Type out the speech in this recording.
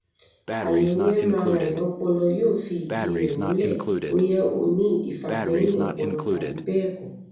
àyẹ̀wò mri ọpọlọ yóò fi ìdí rẹ̀ múlẹ̀ bóyá ó ní ìfàsẹ́yìn ọpọlọ tàbí bẹ́ẹ̀ kọ́